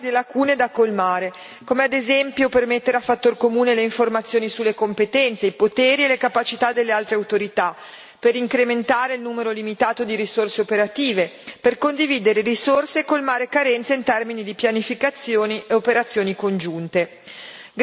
Ci sono ritardi e lacune da colmare, come ad esempio per mettere a fattor comune le informazioni sulle competenze, i poteri e le capacità delle altre autorità, per incrementare il numero limitato di risorse operative, per condividere risorse e colmare carenze in termini di pianificazioni e operazioni congiunte.